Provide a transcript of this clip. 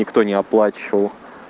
никто не оплачивал